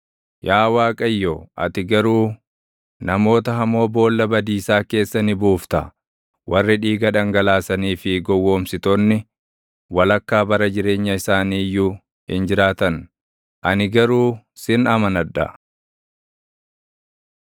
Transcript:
Yaa Waaqayyo, ati garuu namoota hamoo boolla badiisaa keessa ni buufta; warri dhiiga dhangalaasanii fi gowwoomsitoonni, walakkaa bara jireenya isaanii iyyuu hin jiraatan. Ani garuu sin amanadha.